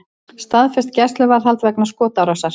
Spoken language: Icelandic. Staðfest gæsluvarðhald vegna skotárásar